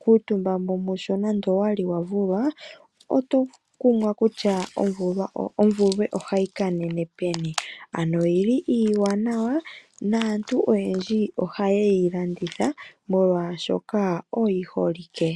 kuutumba mo musho nande owali wa vulwa oto kumwa kutya omvulwe ohayi kanene peni. Noyili iwanawa naantu oyendji ohayeyi landitha molwashoka oyi holike.